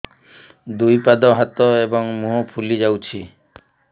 ଦୁଇ ପାଦ ହାତ ଏବଂ ମୁହଁ ଫୁଲି ଯାଉଛି